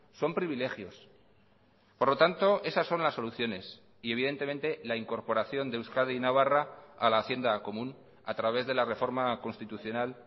son privilegios por lo tanto esas son las soluciones y evidentemente la incorporación de euskadi y navarra a la hacienda común a través de la reforma constitucional